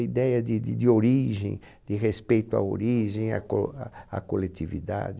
Ideia de de de origem, de respeito à origem, à co a à coletividade.